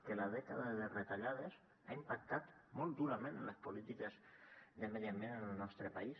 que la dècada de retallades ha impactat molt durament en les polítiques de medi ambient en el nostre país